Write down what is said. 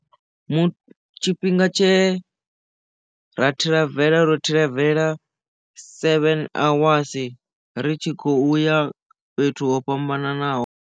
Mu tshifhinga tshe ra thiravela ro thiravela seven awasi ri tshi khoya fhethu ho fhambananaho.